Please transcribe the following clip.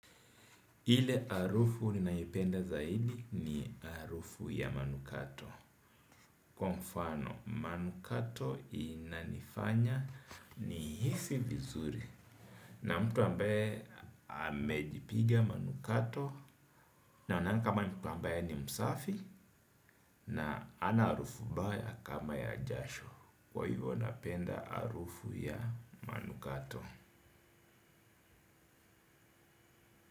Ile harufu ninayoipenda zaidi ni harufu ya manukato. Kwa mfano manukato inanifanya ni hisi vizuri. Na mtu ambaye amejipiga manukato. Naonanga kama mtu ambaye ni msafi na ana harufu mbaya kama ya jasho. Kwa hivyo napenda harufu ya manukato.